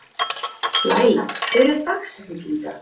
Lalíla, hver er dagsetningin í dag?